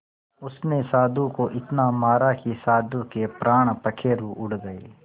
उसने साधु को इतना मारा कि साधु के प्राण पखेरु उड़ गए